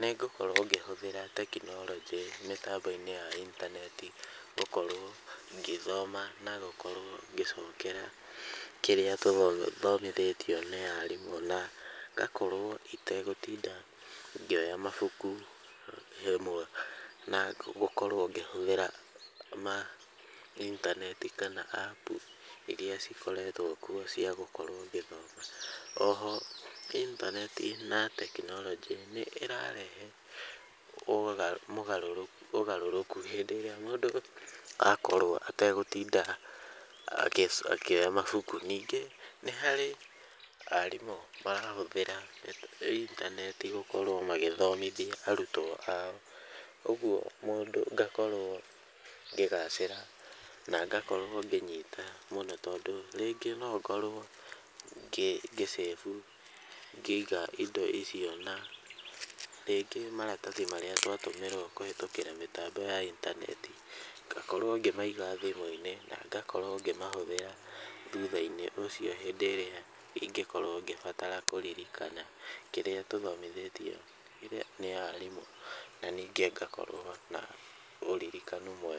nĩngũkorwo ngĩhũthĩra tekinoronjĩ mĩtambo-inĩ ya intaneti gũkorwo ngĩthoma na gũkorwo ngĩcokera kĩrĩa thomithĩtio nĩ arimũ na ngakorwo itegũtinda ngĩoya mabuku na gũkorwo ngĩhũthĩra intaneti kana apu iria cikoretwo kuo cia gũkorwo ngĩthoma. Oho intaneti na tekinoronjĩ nĩ ĩrarehe ũgarũrũku hĩndĩ ĩrĩa mũndũ akorwo ategũtinda akĩoya mabuku. Ningĩ nĩ harĩ aarimũ marahũthĩra itaneti gũkorwo magĩthomithia arutwo ao, ũguo ngakorwo ngĩgacira na ngakorwo ngĩnyita mũno tondũ rĩngĩ no ũkorwo ngĩ save-u , ngĩiga indo icio na rĩngĩ maratathi marĩa twatũmĩrwo rĩngĩ kũhĩtũkĩra mĩtambo ya intaneti, ngakorwo ngĩmaiga thimũ-inĩ na ngakorwo ngĩmahũthĩra thutha-inĩ ũcio hĩndĩ ĩrĩa ingĩkorwo ngĩbatara kũririkana kĩrĩa tũthomithĩtio nĩ arimũ na ningĩ ngakorwo na ũririkano mwega.